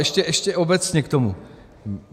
Ještě obecně k tomu.